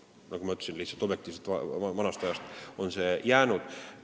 Nagu ma ütlesin, see on lihtsalt vanast ajast jäänud.